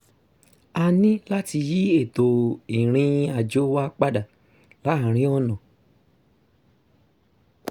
a ní láti yí ètò ìrìn-àjò wa padà láàárín ọ̀nà